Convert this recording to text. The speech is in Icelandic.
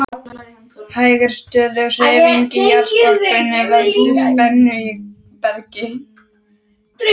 Hæg en stöðug hreyfing í jarðskorpunni veldur spennu í bergi.